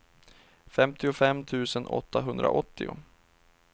femtiofem tusen åttahundraåttio